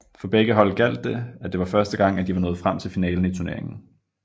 For begge hold gjaldt det at det var første gang at de var nået frem til finalen i turneringen